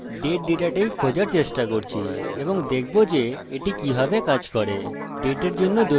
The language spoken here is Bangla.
আমি date ডাটাটাইপ খোঁজার চেষ্টা করছি এবং দেখব যে এটি কিভাবে কাজ করে